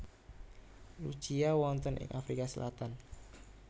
Lucia wonten ing Afrika Selatan